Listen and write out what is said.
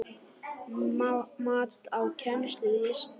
Mat á kennslu í listum